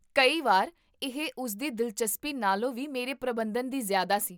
ਕਈ ਵਾਰ ਇਹ ਉਸਦੀ ਦਿਲਚਸਪੀ ਨਾਲੋਂ ਵੀ ਮੇਰੇ ਪ੍ਰਬੰਧਨ ਦੀ ਜ਼ਿਆਦਾ ਸੀ